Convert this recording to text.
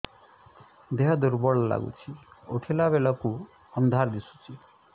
ଦେହ ଦୁର୍ବଳ ଲାଗୁଛି ଉଠିଲା ବେଳକୁ ଅନ୍ଧାର ଦିଶୁଚି